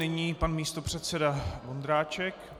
Nyní pan místopředseda Vondráček.